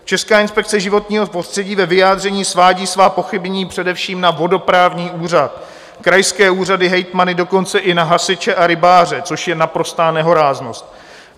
Česká inspekce životního prostředí ve vyjádření svádí svá pochybení především na vodoprávní úřad, krajské úřady, hejtmany, dokonce i na hasiče a rybáře, což je naprostá nehoráznost.